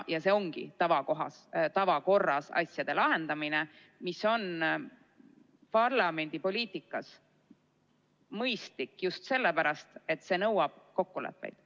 See ongi tavakorras asjade lahendamine, mis on parlamendipoliitikas mõistlik just sellepärast, et see nõuab kokkuleppeid.